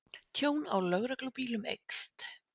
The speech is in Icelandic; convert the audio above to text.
Tjón á lögreglubílum eykst